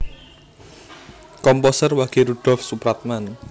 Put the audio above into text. Komposer Wage Rudolf Supratman